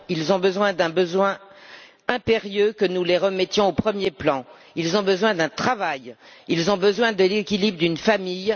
Non, ils ont un besoin impérieux que nous les remettions au premier plan, ils ont besoin d'un travail, ils ont besoin de l'équilibre d'une famille.